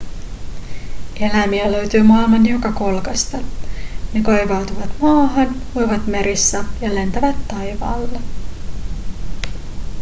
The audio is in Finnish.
eläimiä löytyy maailman joka kolkasta ne kaivautuvat maahan uivat merissä ja lentävät taivaalla